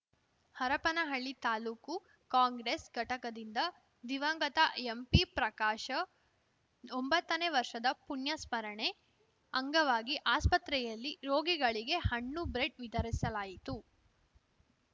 ಹರಪನಹಳ್ಳಿ ತಾಲೂಕು ಕಾಂಗ್ರೆಸ್‌ ಘಟಕದಿಂದ ದಿವಂಗತ ಎಂಪಿ ಪ್ರಕಾಶ ಒಂಬತ್ತನೇ ವರ್ಷದ ಪುಣ್ಯಸ್ಮರಣೆ ಅಂಗವಾಗಿ ಆಸ್ಪತ್ರೆಯಲ್ಲಿ ರೋಗಿಗಳಿಗೆ ಹಣ್ಣು ಬ್ರೆಡ್‌ ವಿತರಿಸಲಾಯಿತು